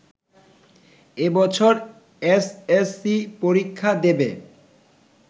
এবছর এসএসসি পরীক্ষা দেবে